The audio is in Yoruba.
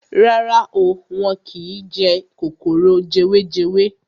Rárá o, wọ́n kín jẹ kòkòrò jewejewe.